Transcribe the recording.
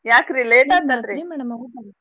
ಯಾಕ್ರಿ late ಆಯ್ತಅಲ್ರೀ .